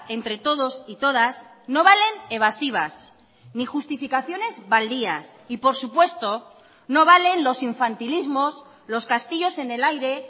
entre todos y todas no valen evasivas ni justificaciones baldías y por supuesto no valen los infantilismos los castillos en el aire